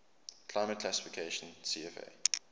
climate classification cfa